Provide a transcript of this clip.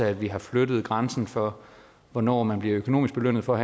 at vi har flyttet grænsen for hvornår man bliver økonomisk belønnet for